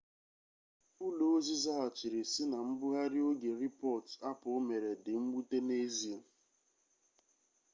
ụlọ ozi zaghachiri sị na mbugharị oge rịpọt apple mere dị mwute n'ezie